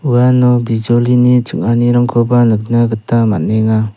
uano bijolini ching·anirangkoba nikna gita man·enga.